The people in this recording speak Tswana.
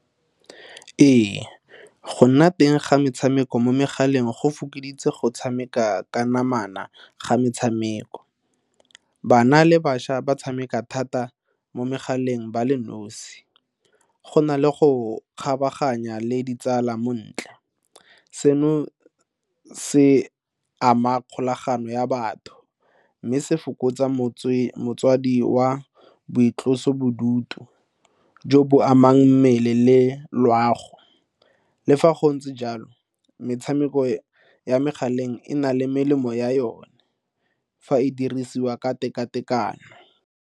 Ee, go nna teng ga metshameko mo megaleng go fokoditse go tshameka ka namana ga metshameko. Bana le bašwa ba tshameka thata mo megaleng ba le nosi, go na le go kgabaganya le ditsala mo ntla seno se ama kgolagano ya batho mme se fokotsa motswedi wa boitlosobodutu ubuntu jo bo amang mmele le loago. Le fa go ntse jalo metshameko ya megaleng e na le melemo ya yone fa e dirisiwa ka tekatekano.